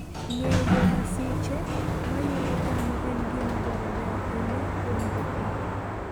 Ng'eyo masiche ma yudo dhano en gima dwarore ahinya kuom jopith.